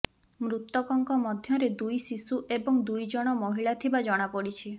ମୃତକଙ୍କ ମଧ୍ୟରେ ଦୁଇ ଶିଶୁ ଏବଂ ଦୁଇ ଜଣ ମହିଳା ଥିବା ଜଣାପଡିଛି